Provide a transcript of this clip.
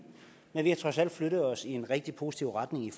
men vi har trods alt flyttet os i en rigtig positiv retning i